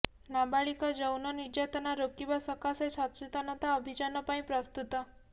ନାବାଳିକା ଯୌନ ନିର୍ଯାତନା ରୋକିବା ସକାଶେ ସଚେତନତା ଅଭିଯାନ ପାଇଁ ପ୍ରସ୍ତୁତ